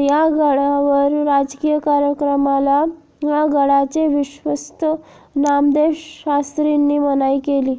या गडावर राजकीय कार्यक्रमाला गडाचे विश्वस्त नामदेव शास्त्रींनी मनाई केली